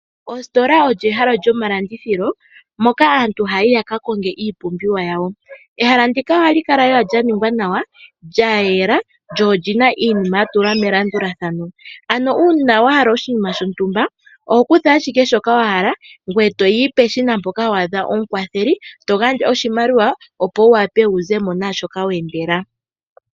Ositola olyo ehala lyomalandithilo, moka aantu haya yi yaka konge iipumbiwa yawo. Ehala ndika ohali kala lela lya ningwa nawa, lya yela lyo oli na iinima ya tulwa melandulathano. Uuna wa hala oshinima shontumba oho kutha ashike shoka wa hala ngoye to yi peshina mpoka wa adha omukwatheli, to gandja oshimaliwa, opo wu wape wu ze mo naashoka we endela.